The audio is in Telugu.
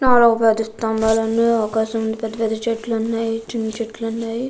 కాలువ స్తంభాలు ఉన్నాయి. ఆకాశం ఉంది . పెద్దపెద్ద చెట్లు ఉన్నాయి. చిన్న చెట్లు ఉన్నాయి.